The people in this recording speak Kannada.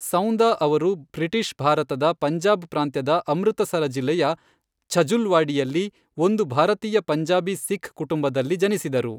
ಸೌಂದ ಅವರು ಬ್ರಿಟಿಷ್ ಭಾರತದ ಪಂಜಾಬ್ ಪ್ರಾಂತ್ಯದ ಅಮೃತಸರ ಜಿಲ್ಲೆಯ ಛಜುಲ್ವಾಡಿಯಲ್ಲಿ ಒಂದು ಭಾರತೀಯ ಪಂಜಾಬಿ ಸಿಖ್ ಕುಟುಂಬದಲ್ಲಿ ಜನಿಸಿದರು.